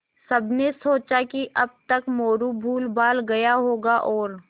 सबने सोचा कि अब तक मोरू भूलभाल गया होगा और